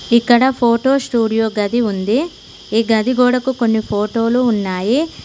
ఇక్కడ photo studio గది ఉంది ఈ గది గోడకు కొన్ని ఫోటోలు ఉన్నాయి.